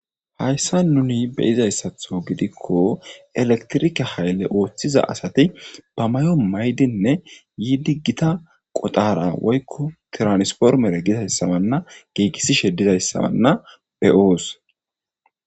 Hayssa nuni beyizayssatho gidikko elektirike haylle ooththiza asati ba may7o maydinne yiidi gita qoxara woykko tiranispormere gizayssabanna giigissishe didayssabanna beyoos.